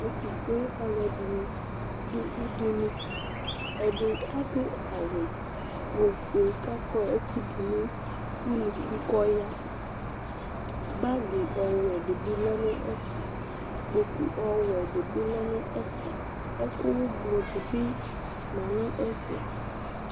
Ɛtʋfue alʋɛdɩnɩ dʋ udunu Ɛdɩ adʋ awʋ ofue kʋ akɔ ɛkʋ dʋ nʋ unuku kʋ ɔya Bagɩ ɔwɛ dɩ bɩ lɛ nʋ ɛfɛ Kpoku ɔwɛ dɩ bɩ lɛ nʋ ɛfɛ Ɛkʋ ʋblʋ dɩ bɩ ma nʋ ɛfɛ